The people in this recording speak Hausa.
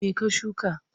Me ka shuka?